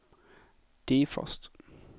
defrost